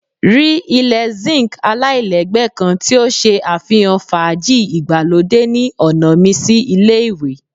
Ri ile zinc alailẹgbẹ kan ti o ṣe afihan faaji igbalode ni ọna mi si ile-iwe